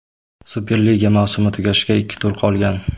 Superliga mavsumi tugashiga ikki tur qolgan.